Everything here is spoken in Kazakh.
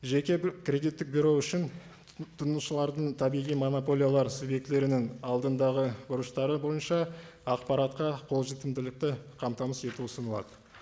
жеке кредиттік бюро үшін тұтынушылардың табиғи монополиялар субъектілерінің алдындағы борыштары бойынша ақпаратқа қолжетімділікті қамтамасыз ету ұсынылады